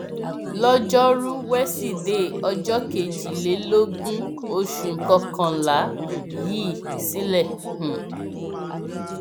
lọjọrùú wíṣídẹẹ ọjọ kejìlélógún oṣù kọkànlá yìí sílẹ um